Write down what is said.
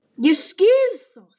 Ég skil það!